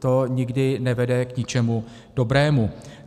To nikdy nevede k ničemu dobrému.